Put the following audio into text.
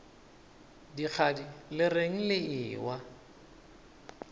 dikgadi le reng le ewa